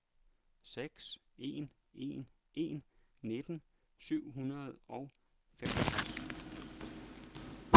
seks en en en nitten syv hundrede og femogtres